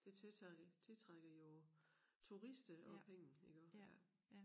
Det tiltrækker tiltrækker jo turister og penge iggå ja